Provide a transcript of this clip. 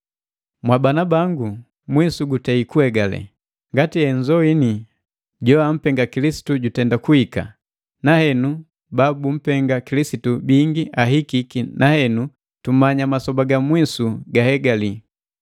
Mwabana bangu, mwisu gutei kuhegale! Ngati henzoini jo ampenga Kilisitu jutenda kuhika, na henu ba bumpenga Kilisitu bingi ahikiki na henu tumanya masoba ga mwisu guhegali.